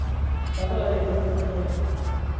Qado ayaa loo baahan yahay.